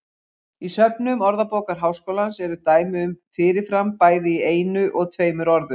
Í söfnum Orðabókar Háskólans eru dæmi um fyrir fram bæði í einu og tveimur orðum.